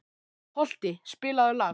Holti, spilaðu lag.